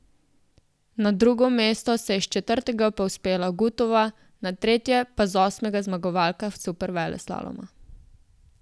Na drugo mesto se je s četrtega povzpela Gutova, na tretje pa z osmega zmagovalka superveleslaloma.